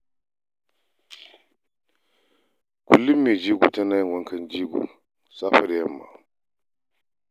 Kullum mai jego tana yin wankan jego safe da yamma.